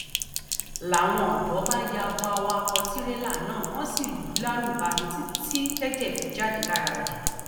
làwọn ọdọ bá ya bo awakọ tìrẹlà náà wọn sì lù ú lálùbami títí tẹjẹ fi bẹ jáde lára rẹ